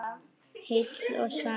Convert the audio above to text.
Heill og sæll.